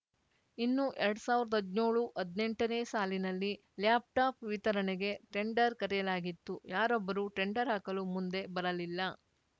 ಇನ್ನುಎರಡ್ ಸಾವಿರದ ಹದ್ನ್ಯೋಳುಹದ್ನೆಂಟನೇ ಸಾಲಿನಲ್ಲಿ ಲ್ಯಾಪ್‌ಟಾಪ್‌ ವಿತರಣೆಗೆ ಟೆಂಡರ್‌ ಕರೆಯಲಾಗಿತ್ತು ಯಾರೊಬ್ಬರೂ ಟೆಂಡರ್‌ ಹಾಕಲು ಮುಂದೆ ಬರಲಿಲ್ಲ